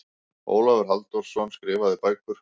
Ólafur Halldórsson, Skrifaðar bækur